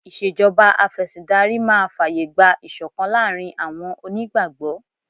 Ìṣèjọba Afẹ̀sìndarí máa fàyè gba ìṣọ̀kan láàárín àwọn onígbàgbọ́